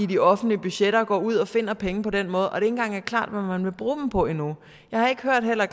de offentlige budgetter bare går ud og finder penge på den måde og det ikke engang er klart hvad man vil bruge dem på endnu jeg har heller